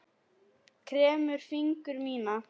Kremur fingur mína.